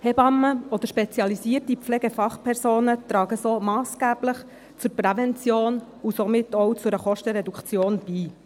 Hebammen oder spezialisierte Pflegefachpersonen tragen so massgeblich zur Prävention und somit auch zu einer Kostenreduktion bei.